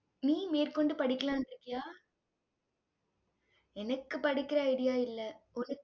நீ மேற்கொண்டு படிக்கலான்னு இருக்கியா? எனக்கு படிக்கிற idea இல்ல உனக்~